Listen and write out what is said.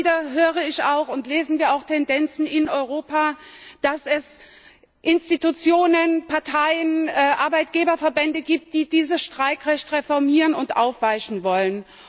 Immer wieder höre ich und lesen wir auch von Tendenzen in Europa, dass es Institutionen, Parteien, Arbeitgeberverbände gibt, die dieses Streikrecht reformieren und aufweichen wollen.